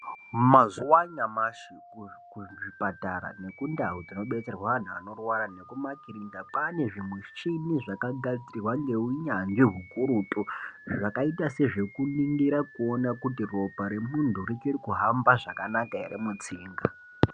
Mazuwa anyamashi kuzvipatara nekundau dzinobetserwa anhu anorwara nemumakirinika kwaane zvimichini zvakagadzirwa neunyanzvi hukurutu. Zvakaita sezvekuningira kuona kuti ropa remuntu richiri kuhamba zvakanaka here mutsinga.